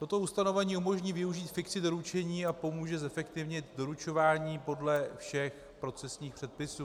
Toto ustanovení umožní využít fikci doručení a pomůže zefektivnit doručování podle všech procesních předpisů.